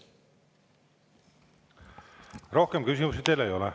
Rohkem küsimusi teile ei ole.